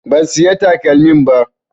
Ban siya takalmin ba